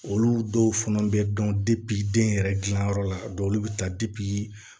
Olu dɔw fana bɛ dɔn den yɛrɛ dilanyɔrɔ la a dɔw bɛ taa